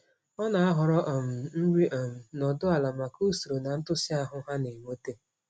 Ọ na-ahọrọ um nri um nọdụ ala maka usoro na ntụsị ahụ ha na-eweta.